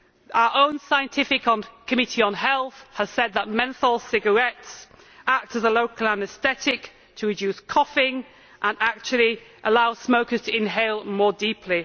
Our own Scientific Committee on Health has said that menthol cigarettes act as a local anaesthetic to reduce coughing and actually allow smokers to inhale more deeply.